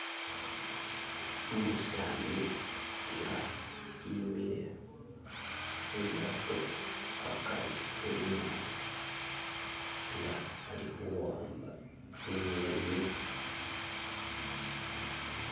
Umusani inga imile khulyato hakari wenyatsa nga alikhuwamba tsinyeni